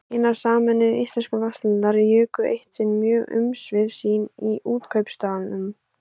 Hinar sameinuðu íslensku verslanir juku eitt sinn mjög umsvif sín í Útkaupstaðnum.